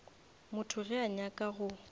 motho ge a nyaka go